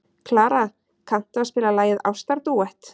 Klara, kanntu að spila lagið „Ástardúett“?